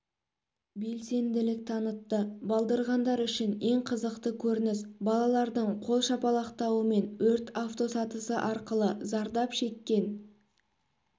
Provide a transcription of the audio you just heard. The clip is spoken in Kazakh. белсенділік танытты балдырғандар үшін ең қызықты көрініс балалардың қол шапалақтауымен өрт автосатысы арқылы зардап шеккен